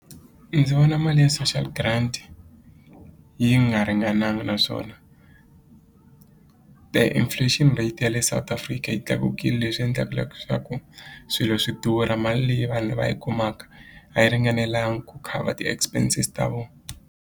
ndzi vona mali ya social grant yi nga ringananga naswona inflation rate ya le South Africa yi tlakukile leswi endlaka swilo swi durha mali leyi vanhu va yi kumaka a yi ringanelanga ku cover ti-expenses ta vo.